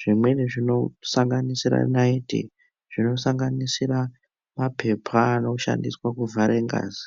Zvimweni zvinosanganisire nariti, zvinosanganisira mapepa anoshandiswe kuvhare ngazi.